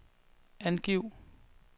angiv